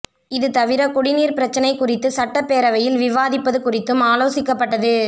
இது தவிர குடிநீர் பிரச்னை குறித்து சட்டப்பேரவையில் விவாதிப்பது குறித்தும் ஆலோசிக்கப்பட்டது